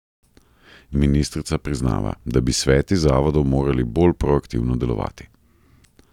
Ministrica priznava, da bi sveti zavodov morali bolj proaktivno delovati.